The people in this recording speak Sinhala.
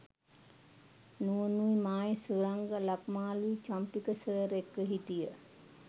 නුවනුයි මායි සුරංග ලක්මාලුයි චම්පක සර් එක්ක හිටිය.